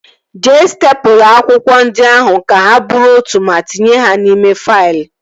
Jee stepụla akwụkwọ ndị ahụ ka ha bụrụ otu ma tinye ha n'ime faịlụ